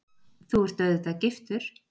Þú ert auðvitað giftur?